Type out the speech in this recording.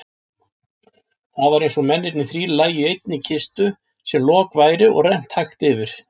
Það var einsog mennirnir þrír lægju í einni kistu sem loki væri rennt hægt yfir.